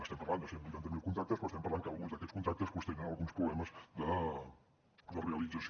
estem parlant de cent i vuitanta miler contractes però estem parlant que alguns d’aquests contractes doncs tenen alguns problemes de realització